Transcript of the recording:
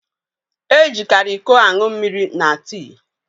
E jikari ịkọ aṅụ mmiri na tii